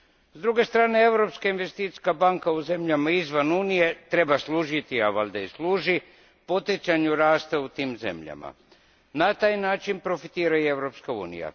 S druge strane Europska investicijska banka u zemljama izvan Unije treba služiti, a valjda i služi, poticanju rasta u tim zemljama. Na taj način profitira i Europska unija.